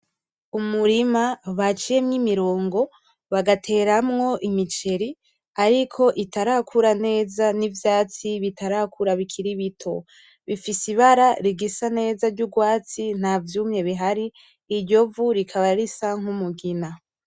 Umurima baciyemwo imirongo bagateramwo imiceri ariko itarakura neza, n’ivyatsi bitarakura bikiri bito. bifise ibara rigisa neza ry urwatsi nta vyumye bihari, iryo bara rikaba risa n’umugina.